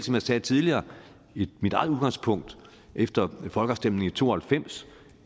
jeg sagde tidligere mit eget udgangspunkt efter folkeafstemningen i nitten to og halvfems